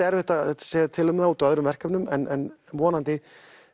erfitt að segja til um það út af öðrum verkefnum en vonandi